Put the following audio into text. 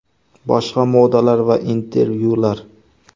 Boshqa maqolalar va intervyular: !